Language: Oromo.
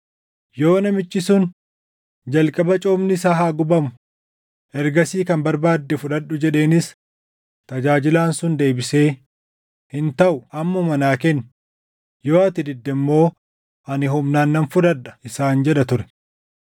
Yoo namichi sun, “Jalqaba coomni isaa haa gubamu; ergasii kan barbaadde fudhadhu” jedheenis, tajaajilaan sun deebisee, “Hin taʼuu ammuma naa kenni; yoo ati didde immoo ani humnaan nan fudhadha” isaan jedha ture.